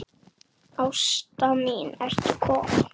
Ásta mín ertu komin?